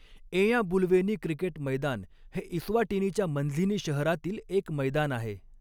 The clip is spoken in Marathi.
एञाबुलवेनी क्रिकेट मैदान हे इस्वाटिनीच्या मंझीनी शहरातील एक मैदान आहे.